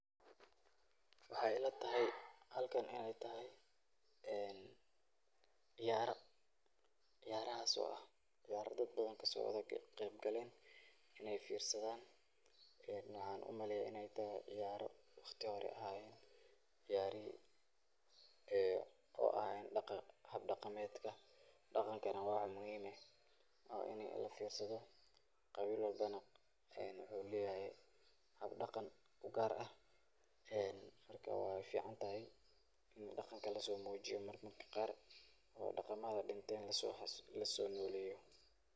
Waxaay ila tahay halkan inaay tahay, ee ciyaara, ciyaarahaas oo ah ciyaara dad badan kasoo qeyb galeen, inaay fiirsadaan, ee waxaa umaleyaa inaay tahay, ciyaaro waqti hore ahayeen, ciyaarihii oo ahayeen hab daqameed, daqankana waa wax muhiim ah, oo ini lafiirsado, qabiil walbo nah wuxuu leyahay hab daqan ugaar ah, marka waay fican tahay in daqanka lasoo muujiyo marmarka qaar oo daqamada dinteen lasoo noleeyo.